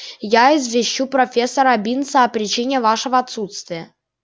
я извещу профессора бинса о причине вашего отсутствия